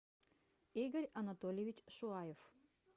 игорь анатольевич шуаев